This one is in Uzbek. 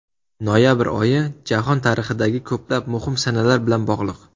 Noyabr oyi jahon tarixidagi ko‘plab muhim sanalar bilan bog‘liq.